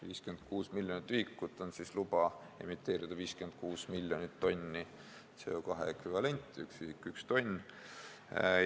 56 miljonit ühikut vastab loale emiteerida 56 miljonit tonni CO2 ekvivalenti, st 1 ühik võrdub 1 tonniga.